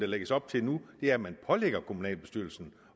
lægges op til nu er at man pålægger kommunalbestyrelserne